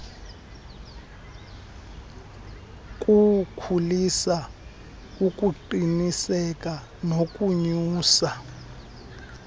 kuwukhulisa ukuqiniseka nokonyusa